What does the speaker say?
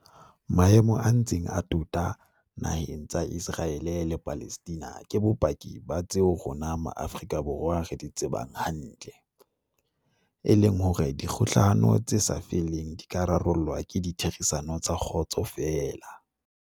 Maemo a ntseng a tota na heng tsa Iseraele le Palestina ke bopaki ba tseo rona Ma afrika Borwa re di tsebang hantle, e leng hore dikgohlano tse sa feleng di ka rarollwa ka ditherisano tsa kgotso feela.